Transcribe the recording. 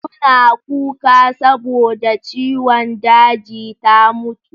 Suna kuka saboda ciwon daji ta mutu.